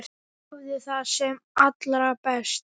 Hafðu það sem allra best.